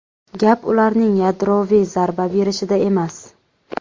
Gap ularning yadroviy zarba berishida emas.